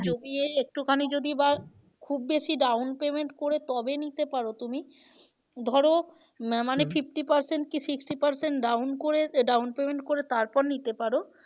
যদি এই একটুখানি যদি বা খুব বেশি down payment করে তবে নিতে পারো তুমি ধরো উম fifty percent কি sixty percent down করে আহ down payment করে তারপর নিতে পারো